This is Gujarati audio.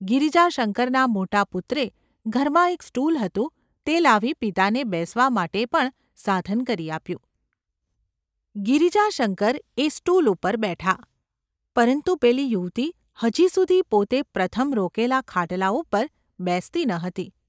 ગિરિજાશંકરના મોટા પુત્રે ઘરમાં એક સ્ટુલ હતું તે લાવી પિતાને બેસવા માટે પણ સાધન કરી આપ્યું, ગિરિજાશંકર એ સ્ટુલ ઉપર બેઠા, પરંતુ પેલી યુવતી હજી સુધી પોતે પ્રથમ રોકેલા ખાટલા ઉપર બેસતી ન હતી.